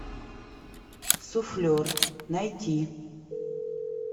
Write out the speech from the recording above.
суфлер найти